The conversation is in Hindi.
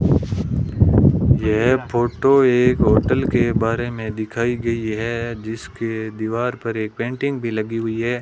यह फोटो एक होटल के बारे में दिखाई गई है जिसके दीवार पर एक पेंटिंग भी लगी हुई है।